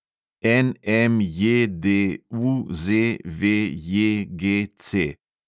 NMJDUZVJGC